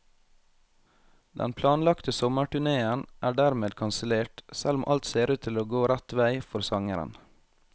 Den planlagte sommerturnéen er dermed kansellert, selv om alt ser ut til å gå rett vei for sangeren.